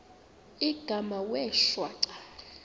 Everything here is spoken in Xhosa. igama wee shwaca